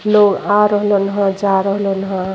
लोग आ रहलन हअ जा रहलन हअ।